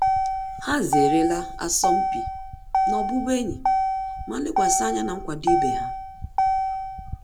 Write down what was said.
Há zéré la asọmpi na ọ́bụ́bụ́ényì ma lékwàsị̀ ányá na nkwado ibe ha.